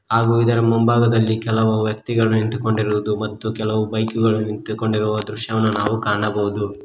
ಹಾಗು ಇದರ ಮುಂಭಾಗದಲ್ಲಿ ಕೆಲವು ವ್ಯಕ್ತಿಗಳು ನಿಂತುಕೊಂಡಿರುವುದು ಮತ್ತು ಕೆಲವು ಬೈಕ್ ಗಳು ನಿಂತುಕೊಂಡಿರುವ ದೃಶ್ಯವನ್ನು ನಾವು ಕಾಣಬಹುದು.